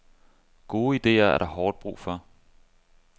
Gode idéer er der hårdt brug for.